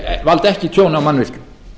en valda ekki tjóni á mannvirkjum